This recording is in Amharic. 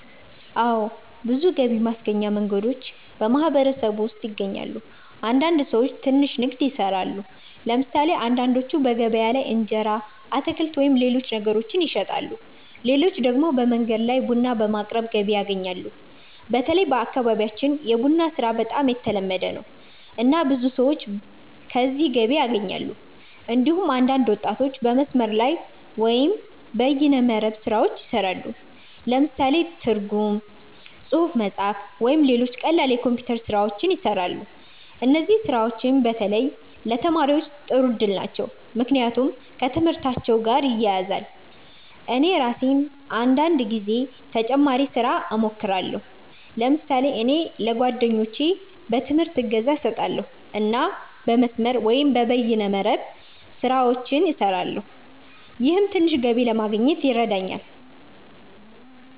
አዎ። ብዙ ገቢ ማስገኛ መንገዶች በማህበረሰቡ ውስጥ ይገኛሉ። አንዳንድ ሰዎች ትንሽ ንግድ ይሰራሉ። ለምሳሌ አንዳንዶቹ በገበያ ላይ እንጀራ፣ አትክልት ወይም ሌሎች ነገሮችን ይሸጣሉ። ሌሎች ደግሞ በመንገድ ላይ ቡና በማቅረብ ገቢ ያገኛሉ። በተለይ በአካባቢያችን የቡና ስራ በጣም የተለመደ ነው፣ እና ብዙ ሰዎች ከዚህ ገቢ ያገኛሉ። እንዲሁም አንዳንድ ወጣቶች በመስመር ላይ (በይነ መረብ) ስራዎች ይሰራሉ። ለምሳሌ ትርጉም፣ ጽሁፍ መጻፍ፣ ወይም ሌሎች ቀላል የኮምፒውተር ስራዎች ይሰራሉ። እነዚህ ስራዎች በተለይ ለተማሪዎች ጥሩ እድል ናቸው፣ ምክንያቱም ከትምህርታቸው ጋር ይያያዛሉ። እኔ ራሴም አንዳንድ ጊዜ ተጨማሪ ስራ እሞክራለሁ። ለምሳሌ እኔ ለጓደኞቼ በትምህርት እገዛ እሰጣለሁ እና የመስመር(በይነ መረብ) ስራዎችን እሰራለሁ። ይህም ትንሽ ገቢ ለማግኘት ይረዳኛል።